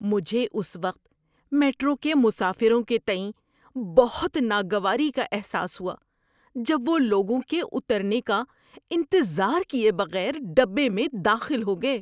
مجھے اس وقت میٹرو کے مسافروں کے تئیں بہت ناگواری کا احساس ہوا جب وہ لوگوں کے اترنے کا انتظار کیے بغیر ڈبے میں داخل ہو گئے۔